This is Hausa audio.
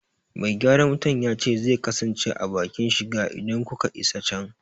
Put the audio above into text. Me gyaran wutar ya ce zai kasance a bakin shiga idan kuka isa can.